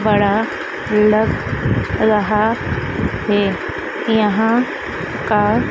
खड़ा लग रहा है यहां का--